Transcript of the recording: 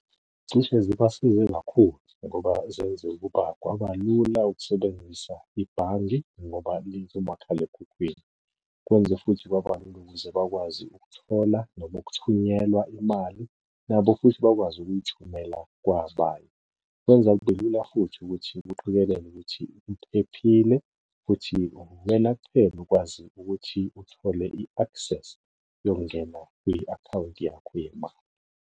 Cishe zibasize kakhulu ngoba zenze ukuba kwabalula ukusebenzisa ibhange ngoba likumakhalekhukhwini. Kwenze futhi kwaba lula ukuze bakwazi ukuthola noma ukuthunyelwa imali, nabo futhi bakwazi ukuyithumela kwabanye. Kwenza kube lula futhi ukuthi kuqikelelwe ukuthi iphephile, futhi uwena kuphela okwazi ukuthi uthole i-access yokungena kwi-akhawunti yakho yemali.